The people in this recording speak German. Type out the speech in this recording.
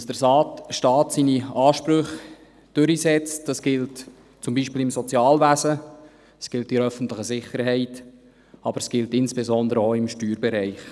Dass der Staat seine Ansprüche durchsetzt, das gilt beispielsweise im Sozialwesen, es gilt in der öffentlichen Sicherheit, aber es gilt insbesondere auch im Steuerbereich.